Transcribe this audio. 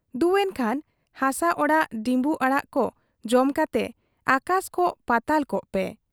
ᱫᱩ ᱮᱱᱠᱷᱟᱱ ᱦᱟᱥᱟ ᱟᱲᱟᱜ ᱰᱤᱢᱵᱩ ᱟᱲᱟᱜ ᱠᱚ ᱡᱚᱢ ᱠᱟᱛᱮ ᱟᱠᱟᱥ ᱠᱚᱜ ᱯᱟᱛᱟᱞ ᱠᱚᱜ ᱯᱮ ᱾